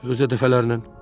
Özü də dəfələrlə.